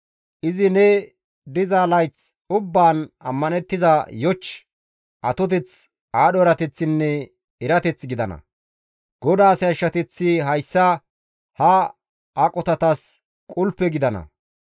Izi ne diza layth ubbaan ammanththiza yoch, atoteth, aadho erateththinne erateth gidana; GODAAS yashshateththi hayssa ha aqotatas qulpe gidana.